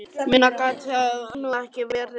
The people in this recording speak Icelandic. Minna gat það nú ekki verið.